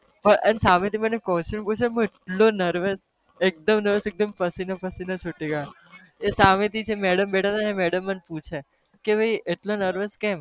પણ સામેથી મને question હું એટલો nervous એકદમ narvous એકદમ પસીનો-પસીનો છુટી ગયો, એ સામેથી જે madam બેઠા હતા ને એ madam મને પૂછે કે ભાઈ એટલો narvous કેમ?